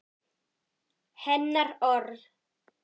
Hennar orð.